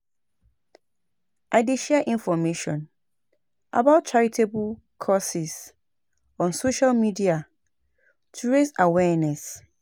I dey share information about charitable causes on social media to raise awareness.